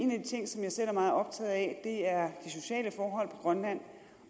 ting som jeg selv er meget optaget af er de sociale forhold på grønland